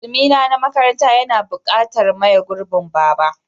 Takalmi na makaranta yana buƙatar maye gurbin Baba.